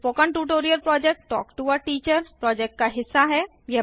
spoken tutorial project talk to a teacher project का हिस्सा है